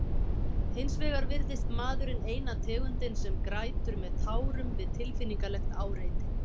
Hins vegar virðist maðurinn eina tegundin sem grætur með tárum við tilfinningalegt áreiti.